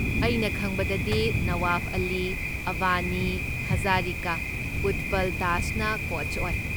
ꯑꯩꯅ ꯈꯪꯕꯗꯗꯤ, ꯅꯋꯥꯕ ꯑꯂꯤ, ꯑꯕꯅꯤ ꯍꯖꯥꯔꯤꯀꯥ, ꯎꯠꯄꯜ ꯗꯥꯁꯅ ꯀꯣꯆ ꯑꯣꯏ꯫